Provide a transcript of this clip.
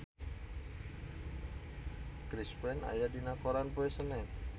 Chris Pane aya dina koran poe Senen